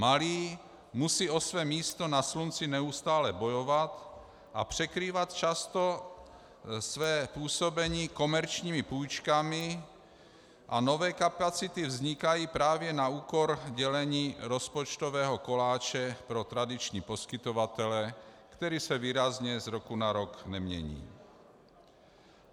Malí musí o své místo na slunci neustále bojovat a překrývat často své působení komerčními půjčkami a nové kapacity vznikají právě na úkor dělení rozpočtového koláče pro tradiční poskytovatele, který se výrazně z roku na rok nemění.